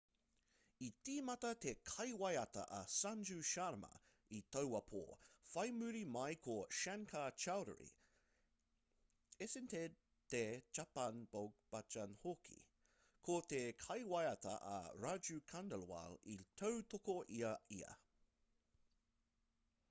i tīmata te kaiwaiata a sanju sharma i taua pō whai muri mai ko shankar choudhary esented the chhappan bhog bhajan hoki ko te kaiwaiata a raju khandelwal i tautoko i a ia